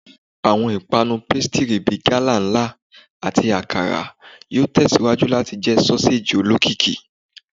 Awọn ipanu pasitiri bi gala nla; ati Akara yoo tẹsiwaju lati jẹ soseji olokiki